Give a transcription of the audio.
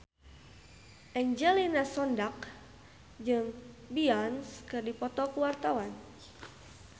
Angelina Sondakh jeung Beyonce keur dipoto ku wartawan